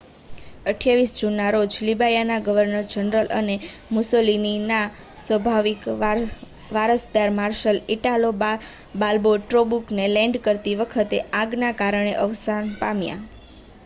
28 જૂનના રોજ લિબિયાના ગવર્નર જનરલ અને મુસોલિનીના સ્વાભાવિક વારસદાર માર્શલ ઇટાલો બાલ્બો ટોબ્રુકમાં લૅન્ડ કરતી વખતે આગના કારણે અવસાન પામ્યા